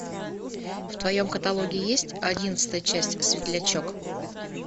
в твоем каталоге есть одиннадцатая часть светлячок